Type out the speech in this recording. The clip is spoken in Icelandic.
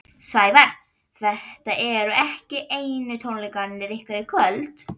Sævar, þetta eru ekki einu tónleikarnir ykkar í kvöld?